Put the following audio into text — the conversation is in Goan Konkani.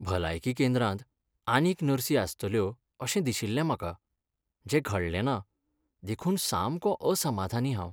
"भलायकी केंद्रांत आनीक नर्सी आसतल्यो अशें दिशिल्लें म्हाका, जें घडलेंना, देखून सामको असमाधानी हांव."